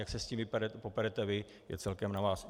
Jak se s tím poperete vy, je celkem na vás.